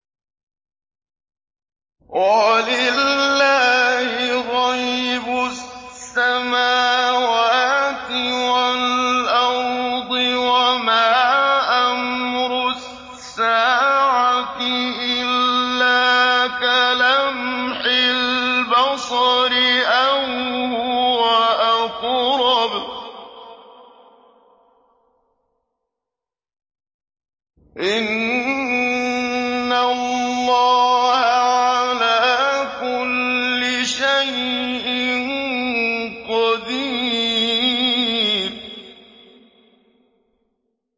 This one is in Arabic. وَلِلَّهِ غَيْبُ السَّمَاوَاتِ وَالْأَرْضِ ۚ وَمَا أَمْرُ السَّاعَةِ إِلَّا كَلَمْحِ الْبَصَرِ أَوْ هُوَ أَقْرَبُ ۚ إِنَّ اللَّهَ عَلَىٰ كُلِّ شَيْءٍ قَدِيرٌ